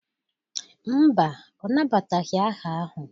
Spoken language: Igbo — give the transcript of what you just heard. Mba, ọ nabataghị aha ahụ.